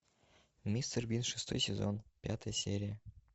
мистер бин шестой сезон пятая серия